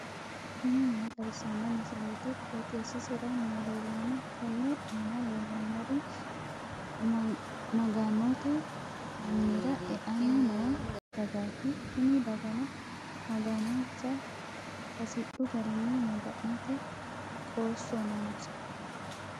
tini maa xawissanno misileeti? qooxeessisera may leellanno? tenne aana leellannori maga'note minira e'anni noo dagaati tini dagano maganonsa hasidhu garinni maga'nate qoosso noonsa.